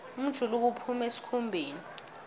umjuluko uphuma esikhumbeni